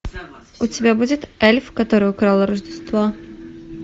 у тебя будет эльф который украл рождество